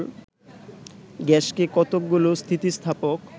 গ্যাসকে কতকগুলো স্থিতিস্থাপক